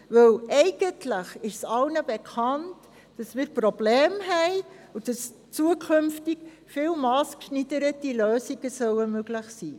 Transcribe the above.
Denn eigentlich ist allen bekannt, dass wir Probleme haben und dass künftig viel massgeschneidertere Lösungen möglich sein müssen.